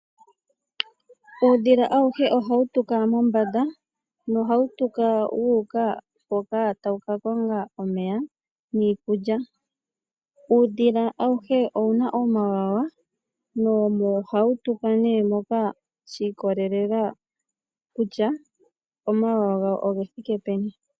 Uudhila awuhe oha wu tuka mombanda noha wu tuka wu uka hoka ta wu ka konga omeya niikulya. Uudhila awuhe owu na omawawa noha wu tuka ne shi ikolelela kutya omawawa gawo oge thike peni.